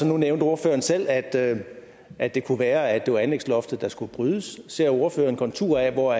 nu nævnte ordføreren selv at at det kunne være at det var anlægsloftet der skulle brydes ser ordføreren konturer af hvor